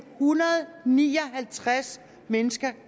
hundrede og ni og halvtreds mennesker